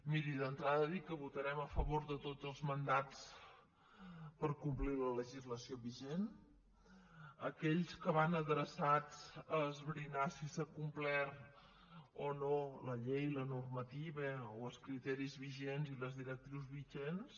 miri d’entrada dir que votarem a favor de tots els mandats per complir la legislació vigent aquells que van adreçats a esbrinar si s’ha complert o no la llei la normativa o els criteris vigents i les directrius vigents